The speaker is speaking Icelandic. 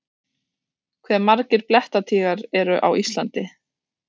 Hve margir blettatígrar eru á Íslandi?